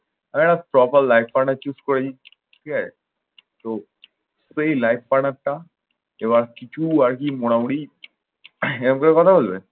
আহ proper একটা life partner choose করে নিই। ঠিক আছে? তো তো এই life partner টা এবার কিছু আরকি মোটামুটি এরকম করে কথা বলবে?